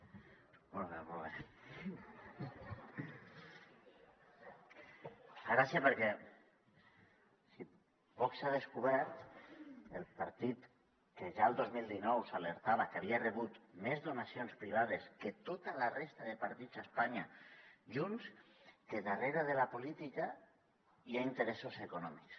fa gràcia perquè vox ha descobert el partit que ja el dos mil dinou s’alertava que havia rebut més donacions privades que tota la resta de partits a espanya junts que darrere de la política hi ha interessos econòmics